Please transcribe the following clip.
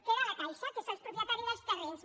queda la caixa que és el propietari dels terrenys